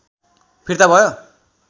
फिर्ता भयो